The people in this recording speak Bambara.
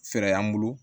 Fɛɛrɛ y'an bolo